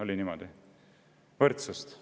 Oli niimoodi?